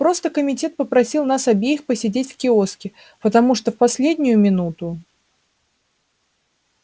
просто комитет попросил нас обеих посидеть в киоске потому что в последнюю минуту